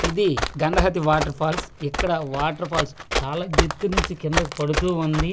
ఇది Gangavathi water falls ఇక్కడ water falls చాలా ఎత్తు నుంచి కిందకు పడుతూ ఉంది ఆ నీ--